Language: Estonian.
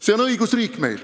Selline õigusriik on meil.